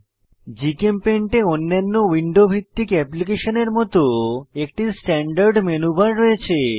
GChemPaint এ অন্যান্য window ভিত্তিক অ্যাপ্লিকেশনের মত একটি স্ট্যান্ডার্ড মেনু বার রয়েছে